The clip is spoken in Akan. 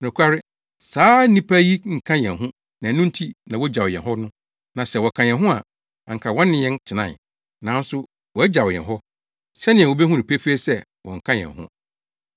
Nokware, na saa nnipa yi nka yɛn ho na ɛno nti na wogyaw yɛn hɔ no. Na sɛ wɔka yɛn ho a, anka wɔne yɛn tenae. Nanso wogyaw yɛn hɔ, sɛnea wubehu no pefee sɛ wɔnka yɛn ho.